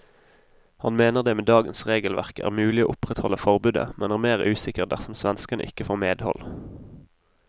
Han mener det med dagens regelverk er mulig å opprettholde forbudet, men er mer usikker dersom svenskene ikke får medhold.